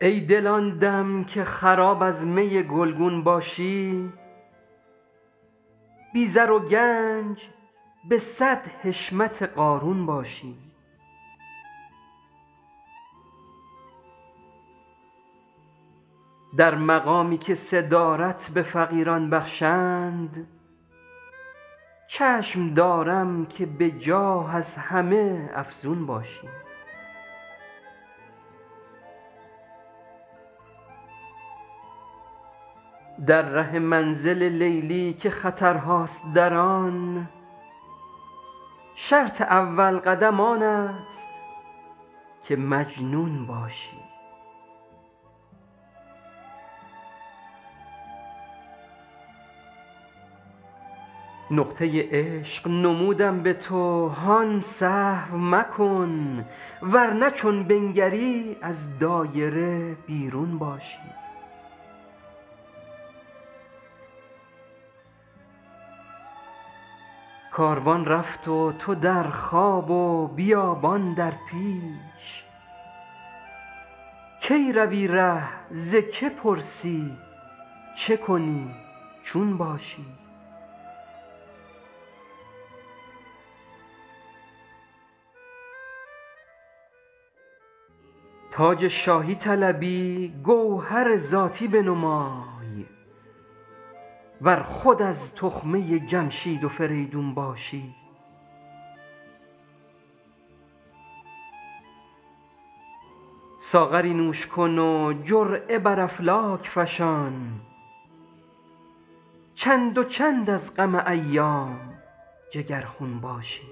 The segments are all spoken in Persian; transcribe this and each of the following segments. ای دل آن دم که خراب از می گلگون باشی بی زر و گنج به صد حشمت قارون باشی در مقامی که صدارت به فقیران بخشند چشم دارم که به جاه از همه افزون باشی در ره منزل لیلی که خطرهاست در آن شرط اول قدم آن است که مجنون باشی نقطه عشق نمودم به تو هان سهو مکن ور نه چون بنگری از دایره بیرون باشی کاروان رفت و تو در خواب و بیابان در پیش کی روی ره ز که پرسی چه کنی چون باشی تاج شاهی طلبی گوهر ذاتی بنمای ور خود از تخمه جمشید و فریدون باشی ساغری نوش کن و جرعه بر افلاک فشان چند و چند از غم ایام جگرخون باشی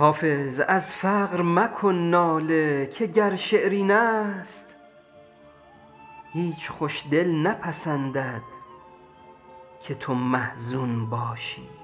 حافظ از فقر مکن ناله که گر شعر این است هیچ خوش دل نپسندد که تو محزون باشی